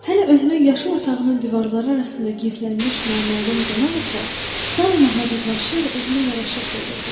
Hələ özünün yaşıl otağının divarları arasında gizlənmiş naməlum qonaq isə daima hazırlanırdı, özünə yaraşıq verirdi.